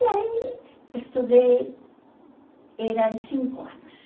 E aí, estudei, eram cinco anos.